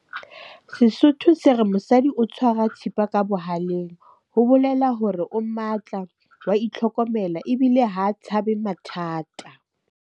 Sesotho se re, mosadi o tshwara thipa ka bohaleng. Ho bolela hore o matla, wa itlhokomela ebile ha tshabe mathata.